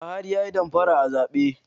Buhari yayi damfara a zabe?